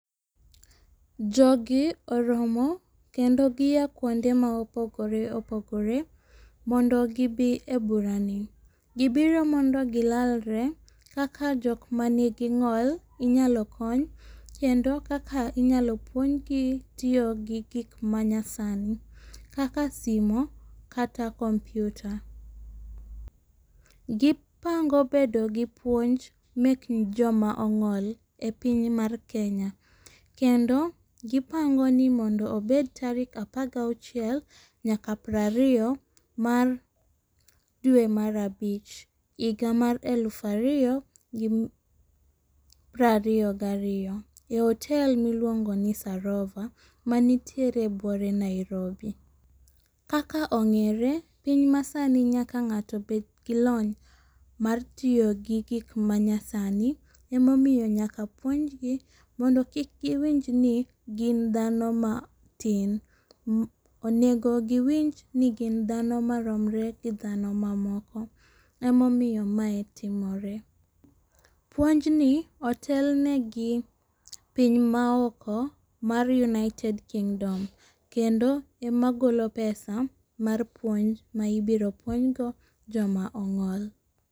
Jogi oromo kendo gia kuonde ma opogore opogore mondo gibi e burani. Gibiro mondo gilalre kaka jok manigi ng'ol inyalo kony. Kendo kaka inyalo puonjgi tiyo gi gik manyasani kaka simo kata kompiuta. Gipango bedo gi puonj mek joma ong'ol e piny mar Kenya. Kendo gipango ni mondo obed tarik apar gi achiel nyaka piero ariyo mar dwe mar abich higa mar elufu ariyo gi piero ariyo gariyo ei hotel miluongo ni Sarova mantiere e buore Nairobi. Kaka ong'ere piny masani nyaka ng'ato bed gi lony mar tiyo gigik manyasani, emomiyo nyaka puonj gi mondo kik giwinj ni gin dhano matin. Onego giwinj ni gin dhani maromre gi dhano mamoko emomiyo mae timore. Puonjni otelne gi piny maoko mar United Kingdom kendo emagolo pesa mar puonj ma ibiro puonjgo joma ong'ol.